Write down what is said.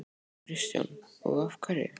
Kristján: Og af hverju?